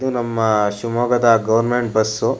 ಇದು ನಮ್ಮ ಶಿವಮೊಗ್ಗದ ಗವರ್ನಮೆಂಟ್ ಬಸ್ಸು .